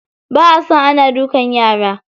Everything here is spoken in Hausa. Ba a son ana duka yara.